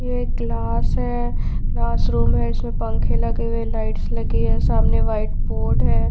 ये एक क्लास है क्लास रूम है उसमे पंखे लगे है लाइट्स लगी है सामने व्हाइट बोर्ड है।